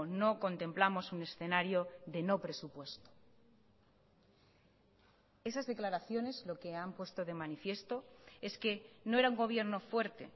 no contemplamos un escenario de no presupuesto esas declaraciones lo que han puesto de manifiesto es que no era un gobierno fuerte